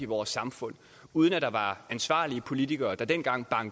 vores samfund uden at der var ansvarlige politikere der dengang